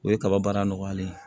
O ye kaba baara nɔgɔyalen ye